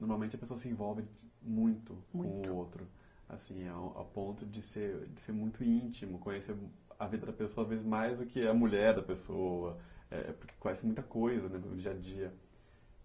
Normalmente, a pessoa se envolvem muito, muito, um com o outro, assim, a a ponto de ser de ser muito íntimo, conhecer a vida da pessoa, às vezes, mais do que a mulher da pessoa, eh, porque conhece muita coisa no dia a dia.